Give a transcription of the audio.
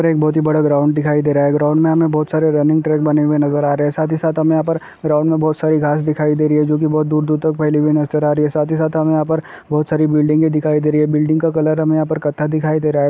एक बहुत ही बड़ा ग्राउन्ड दिखाई दे रहा है ग्राउन्ड मे हमे बहुत सारे रनिंग ट्रैक बने हुवे नजर आ रहे है साथ ही साथ हमे यहा पर ग्राउन्ड मे बहुत सारी घास दिखाई दे रही है जोकि बहुत बहुत दूर-दूर तक फेली हुई नजर आ रही है साथ ही साथ हमे यहाँ पर बहुत सारी बिल्डिंग दिखाई दे रही है बिल्डिंग का कलर हमे यहा पर कथा दिखाई दे रहा है।